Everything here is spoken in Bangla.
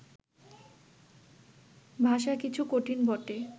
ভাষা কিছু কঠিন বটে